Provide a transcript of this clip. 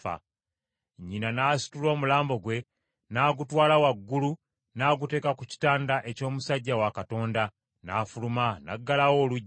Nnyina n’asitula omulambo gwe, n’agutwala waggulu n’aguteeka ku kitanda eky’omusajja wa Katonda, n’afuluma, n’aggalawo oluggi.